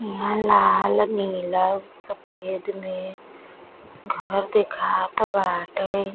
ईहा लाल नीला सफ़ेद में घर देखात बाटे।